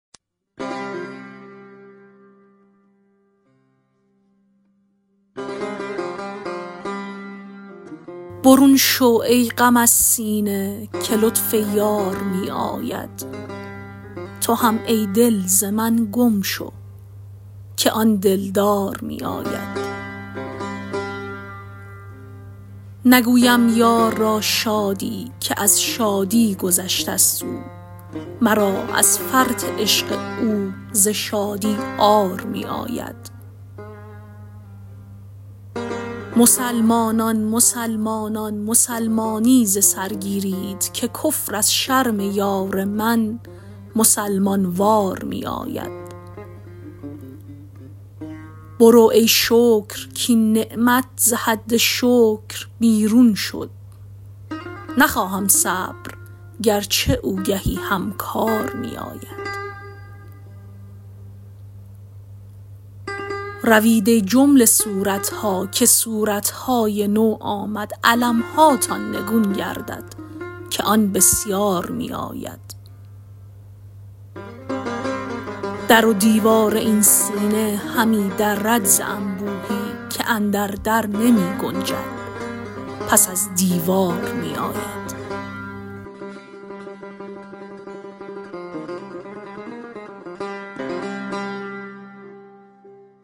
برون شو ای غم از سینه که لطف یار می آید تو هم ای دل ز من گم شو که آن دلدار می آید نگویم یار را شادی که از شادی گذشتست او مرا از فرط عشق او ز شادی عار می آید مسلمانان مسلمانان مسلمانی ز سر گیرید که کفر از شرم یار من مسلمان وار می آید برو ای شکر کاین نعمت ز حد شکر بیرون شد نخواهم صبر گرچه او گهی هم کار می آید روید ای جمله صورت ها که صورت های نو آمد علم هاتان نگون گردد که آن بسیار می آید در و دیوار این سینه همی درد ز انبوهی که اندر در نمی گنجد پس از دیوار می آید